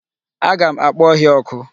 Aga m akpo ohia oku.